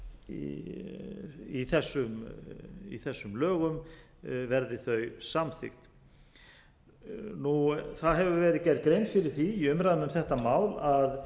felst í þessum lögum verði þau samþykkt það hefur verið gerð grein fyrir því í umræðum um þetta mál að